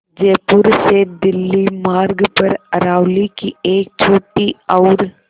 जयपुर से दिल्ली मार्ग पर अरावली की एक छोटी और